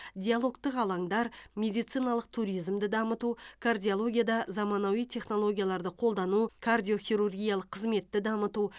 диалогтық алаңдар медициналық туризмді дамыту кардиологияда заманауи технологияларды қолдану кардиохирургиялық қызметті дамыту